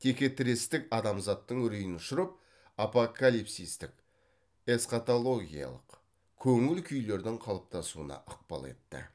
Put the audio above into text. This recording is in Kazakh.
текетірестік адамзаттың үрейін ұшырып апокалипсистік эсхатологиялық көңіл күйлердің қалыптасуына ықпал етті